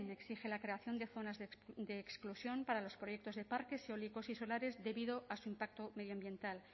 exige la creación de zonas de exclusión para los proyectos de parques eólicos y solares debido a su impacto medioambiental